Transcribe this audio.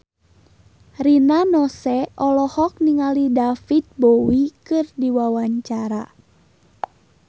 Rina Nose olohok ningali David Bowie keur diwawancara